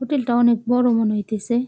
Hotel -টা অনেক বড়ো মনে হইতেসে ।